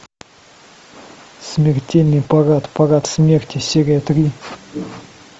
смертельный парад парад смерти серия три